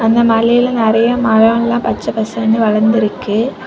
இந்த மலையில நிறைய மரம் எல்லாம் பச்ச பசேல்னு வளர்ந்திருக்கு.